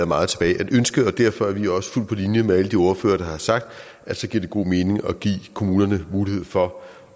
meget tilbage at ønske derfor er vi også fuldt på linje med alle de ordførere der har sagt at så giver det god mening at give kommunerne mulighed for